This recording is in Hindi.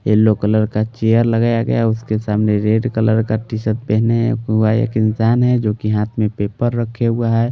येलो कलर का चेयर लगाया गया उसके सामने रेड कलर का टीशर्ट पहने हुआ एक इंसान हैजो कि हाथ में पेपर रखे हुआ है।